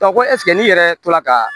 Ka ko ɛseke n'i yɛrɛ kila ka